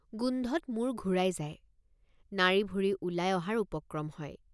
গোন্ধত মূৰ ঘূৰাই যায় নাড়ীভুৰি ওলাই অহাৰ উপক্ৰম হয়।